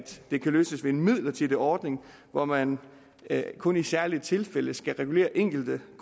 det kan løses ved en midlertidig ordning hvor man kun i særlige tilfælde skal regulere enkelte